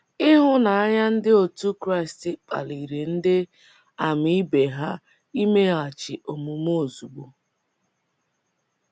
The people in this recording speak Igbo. Ịhụnanya ndị otu Kraịst kpaliri ndị ama ibe ha imeghachi omume ozugbo.